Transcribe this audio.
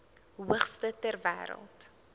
hoogste ter wêreld